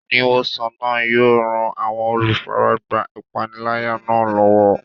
Oníwòsàn náà yóò ran àwọn olùfaragbá ìpániláyà náà lọ́wọ́.